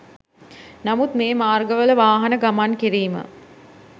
නමුත් මේ මාර්ගවල වාහන ගමන්කිරීම